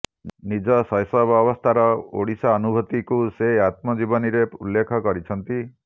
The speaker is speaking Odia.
ନିଜ ଶୈଶବ ଅବସ୍ଥାର ଓଡିଶା ଅନୁଭୂତିକୁ ସେ ଆତ୍ମଜୀବନୀରେ ଉଲ୍ଲେଖ କରିଛନ୍ତି